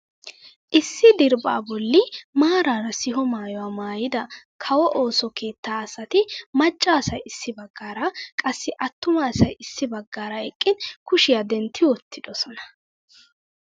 Issi diriphphaa bolli maarara siho maayuwaa maayida kawo ooso keettaa asati macca asay issi baggaara qassi attuma asay issi baggaara eqqin kushiyaa dentti wottidosona!